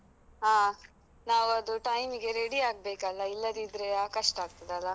ಹಾ ನಾವದು time ಗೆ ready ಆಗ್ಬೇಕಲ್ಲ, ಇಲ್ಲದಿದ್ರೆ ಆ ಕಷ್ಟ ಆಗ್ತದಲ್ಲ?